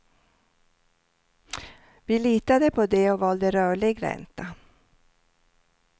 Vi litade på det och valde rörlig ränta.